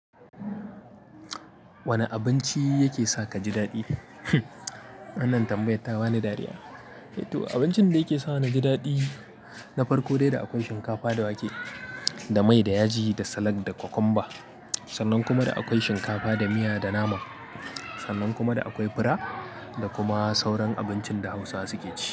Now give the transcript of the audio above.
Wane abinci yake sa ka ji daɗi? Wannan tambayata bani dariya. To abincin da yake sa ni ji daɗi na farko dai da akwai shinkafa da wake da mai da yaji da salat da cucumber. Sannan kuma da akwai shinkafa da miya da nama. Sannan kuma da akwai fura da kuma sauran abincin da Hausawa suke ci.